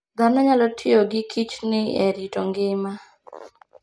Dhano nyalo tiyo gi kichdni e rito ngima.